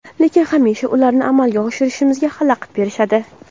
lekin hamisha ularni amalga oshirishimizga xalaqit berishadi.